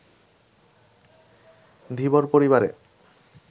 ধীবর পরিবারে